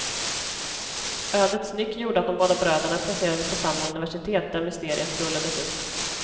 Ödets nyck gjorde att de båda bröderna placerades på samma universitet där mysteriet rullades upp.